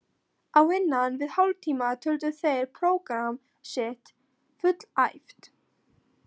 Á innan við hálftíma töldu þeir prógramm sitt fullæft.